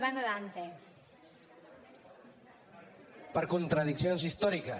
per contradiccions històriques